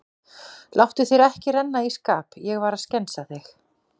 Láttu þér ekki renna í skap, ég var að skensa þig.